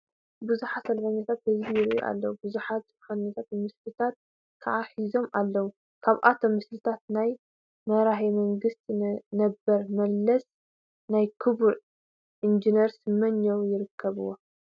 ብዙሓት ሰልፈኛታት ህዝቢ ይርአዩ ኣለዉ፡፡ ብዙሓት ጭርሆታትን ምስልታትን ከዓ ሒዞም ኣለዉ፡፡ ካብኣቶም ምስልታት ናይ መራሄ መንግስት ነበር መለስን ናይ ክቡር ኢንጂነር ስመኘውን ይርከብዎ፡፡